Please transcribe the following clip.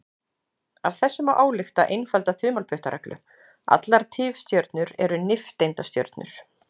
Af þessu má álykta einfalda þumalputtareglu: Allar tifstjörnur eru nifteindastjörnur.